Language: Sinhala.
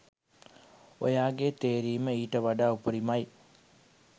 ඔයාගේ තේරීම ඊට වඩා උපරිමයි.